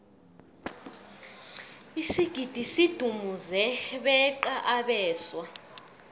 isigidi sidumuze beqa abeswa